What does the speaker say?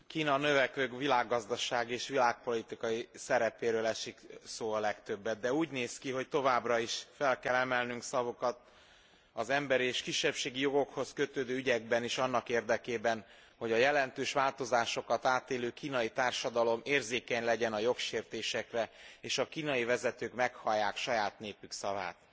Kína növekvő világgazdasági és világpolitikai szerepéről esik szó a legtöbbet, de úgy néz ki, hogy továbbra is fel kell emelnünk szavunkat az emberi és kisebbségi jogokhoz kötődő ügyekben is annak érdekében, hogy a jelentős változásokat átélő kínai társadalom érzékeny legyen a jogsértésekre és a kínai vezetők meghallják saját népük szavát.